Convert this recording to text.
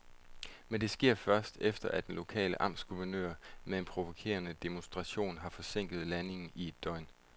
Men det sker først, efter at den lokale amtsguvernør med en provokerende demonstration har forsinket landingen i et døgn.